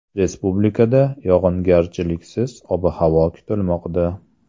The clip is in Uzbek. Respublikada yog‘ingarchiliksiz ob-havo kutilmoqda.